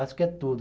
Acho que é tudo.